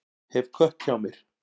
Hef kött hjá mér.